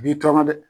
U b'i tɔɔrɔ dɛ